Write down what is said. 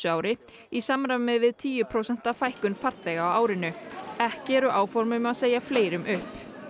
ári í samræmi við tíu prósenta fækkun farþega á árinu ekki eru áform um að segja fleirum upp